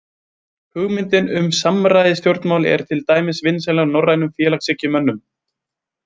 Hugmyndin um samræðustjórnmál er til dæmis vinsæl hjá norrænum félagshyggjumönnum.